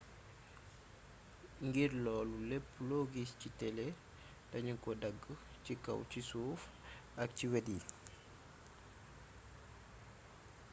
ngir loolu lépp lo giss ci télé dañu ko dagg ci kaw ci suuf ak ci wét yi